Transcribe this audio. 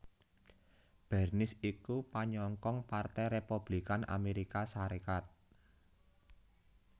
Bernice iku panyokong Partai Républikan Amérika Sarékat